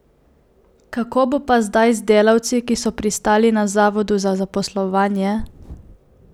Kako bo pa zdaj z delavci, ki so pristali na zavodu za zaposlovanje?